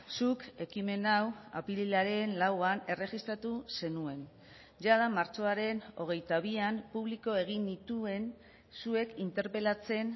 zuk ekimen hau apirilaren lauan erregistratu zenuen jada martxoaren hogeita bian publiko egin nituen zuek interpelatzen